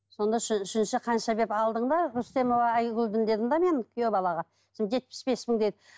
сонда үшінші қанша деп алдың ба рүстемова айгүлден дедім де мен күйеу балаға сосын жетпіс бес мың деді